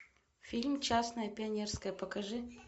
фильм частное пионерское покажи